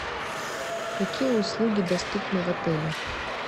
какие услуги доступны в отеле